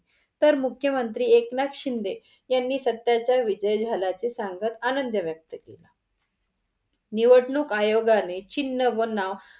तर मुख्य मंत्री एकनाथ शिंदे यांनी सत्याचा विजय झाल्याचा सांगत आनंद व्यक्त केला. निवडणूक आयोगाने चिन्ह व नाव